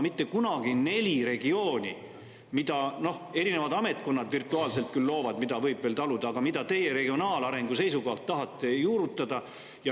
Mitte kunagi ei ole olnud neid nelja regiooni, mida erinevad ametkonnad virtuaalselt loovad, mida ju võiks veel taluda, aga mida teie regionaalarengu seisukohalt tahate juurutada.